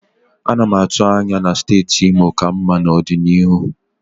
Ana m atụ anya na steeti Imo ka mma n'ọdịnihu.